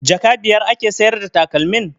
Jaka biyar ake sayar da takalmin?